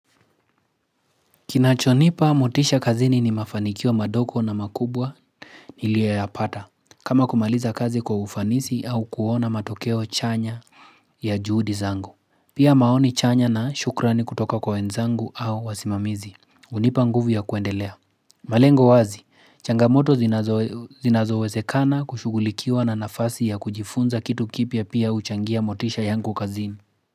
Kinachonipa motisha kazini ni mafanikiwa madogo na makubwa Niliayopata kama kumaliza kazi kwa ufanisi au kuona matokeo chanya ya juhudi zangu Pia maoni chanya na shukrani kutoka kwa wenzangu au wasimamizi unipa nguvu ya kuendelea malengo wazi, changamoto zinazowezekana kushugulikiwa na nafasi ya kujifunza kitu kipya pia uchangia motisha yangu kazini.